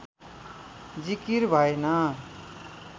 जिकिर भएन